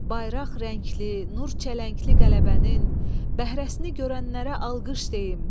Bayraq rəngli, nur çələngli qələbənin bəhrəsini görənlərə alqış deyin.